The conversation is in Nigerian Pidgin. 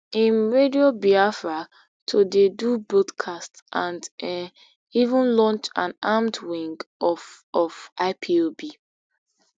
im radio biafra to dey do broadcasts and um even launch an armed wing of of ipob